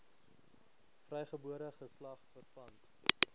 vrygebore geslag verpand